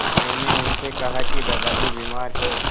मैंने उनसे कहा कि दादाजी बीमार हैं